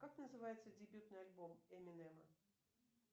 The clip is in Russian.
как называется дебютный альбом эминема